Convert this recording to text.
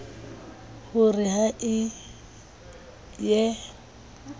ho re ha e ye